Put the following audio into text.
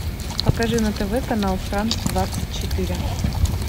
покажи на тв канал франс двадцать четыре